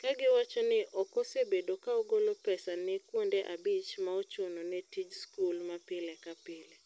Kagiwacho ni okose bedo ka ogolo pesa ne kuonde abich maochuno ne tij skul ma pile ka pile.